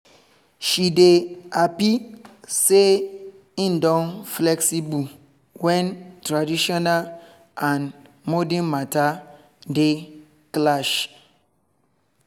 she dey happy say im dey flexible when traditional and modern matter dey clash